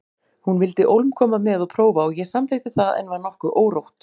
Hún vildi ólm koma með og prófa og ég samþykkti það en var nokkuð órótt.